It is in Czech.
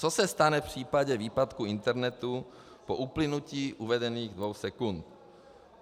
Co se stane v případu výpadku internetu po uplynutí uvedených dvou sekund?